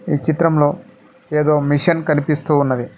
ఈ చిత్రంలో ఏదో మెషిన్ కనిపిస్తూ ఉన్నది.